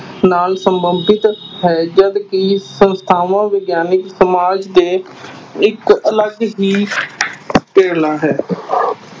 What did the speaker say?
ਨਾਲ ਸੰਬੰਧਿਤ ਹੈ ਜਦਕਿ ਸੰਸਥਾਵਾਂ ਵਿਗਿਆਨਕ ਸਮਾਜ ਦੇ ਇੱਕ ਅਲੱਗ ਹੀ ਹੈ